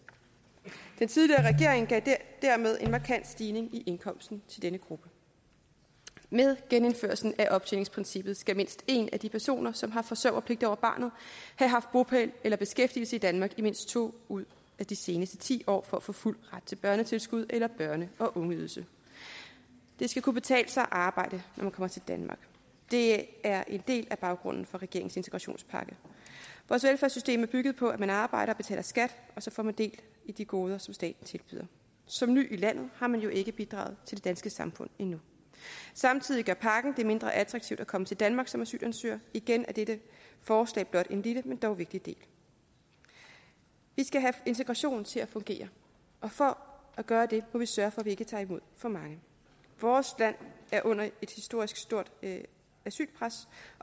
den tidligere regering gav dermed en markant stigning i indkomsten til denne gruppe med genindførelsen af optjeningsprincippet skal mindst en af de personer som har forsørgerpligt over barnet have haft bopæl eller beskæftigelse i danmark i mindst to ud af de seneste ti år for at få fuld ret til børnetilskud eller børne og ungeydelse det skal kunne betale sig at arbejde når man kommer til danmark det er en del af baggrunden for regeringens integrationspakke vores velfærdssystem er bygget på at man arbejder og betaler skat og så får man del i de goder som staten tilbyder som ny i landet har man jo ikke bidraget til det danske samfund endnu samtidig gør pakken det mindre attraktivt at komme til danmark som asylansøger igen er dette forslag blot en lille men dog vigtig del vi skal have integrationen til at fungere og for at gøre det må vi sørge vi ikke tager imod for mange vores land er under et historisk stort asylpres